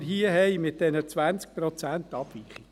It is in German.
Zu den 20 Prozent Abweichungen: